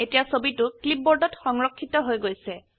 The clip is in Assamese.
এতিয়া ছবিটো ক্লিপবোৰ্ডত সংৰক্ষিত হৈ গৈছে